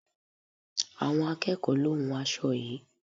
Àwọn akẹ́ẹ̀kọ lo hún aṣo yií.